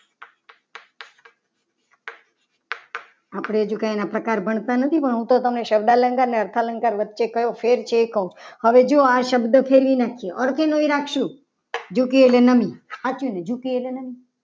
આપણે હજુ કંઈ એના પ્રકાર ભણતા નથી. પણ હું તો તમને શબ્દ અલંકાર અને અર્થાલંકાર વચ્ચે કયો ફેર છે. એ કહું હવે જો આ શબ્દ ફેરવી નાખ્યો. અર્થે એનો એ રાખ્સું. જુકી એટલે નામી સાચુંને જુકી એટલે નામી.